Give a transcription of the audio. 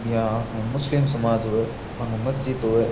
बियाँ मुस्लिम समाज होवे बांगो मस्जिद होवे।